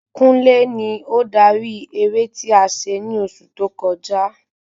Kúnlé ni ó darí eré ti a se ni oṣù tó kọjá